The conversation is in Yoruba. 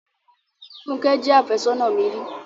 Fúnkẹ́ jẹ́ àfẹ́sónà mi ri.